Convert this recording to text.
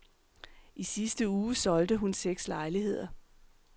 I sidste uge solgte hun seks lejligheder.